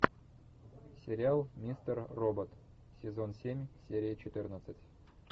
сериал мистер робот сезон семь серия четырнадцать